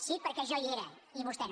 sí perquè jo hi era i vostè no